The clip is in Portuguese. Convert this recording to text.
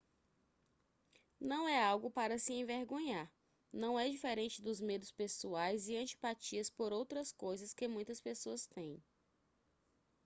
não é algo para se envergonhar não é diferente dos medos pessoais e antipatias por outras coisas que muitas pessoas têm